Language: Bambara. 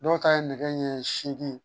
Dɔw ta ye nɛgɛ ɲɛ seegin ye